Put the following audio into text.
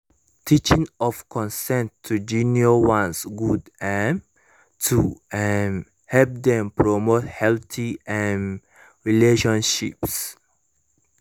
teaching of consent to junior ones good um to um help dem promote healthy um relationships